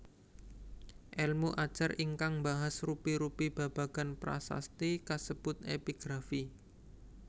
Èlmu ajar ingkang mbahas rupi rupi babagan prasasti kasebut Epigrafi